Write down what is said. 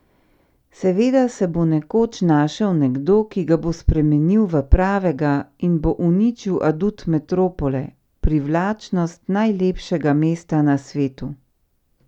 Seveda se bo nekoč našel nekdo, ki ga bo spremenil v pravega in bo uničil adut metropole, privlačnost najlepšega mesta na svetu!